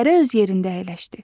Hərə öz yerində əyləşdi.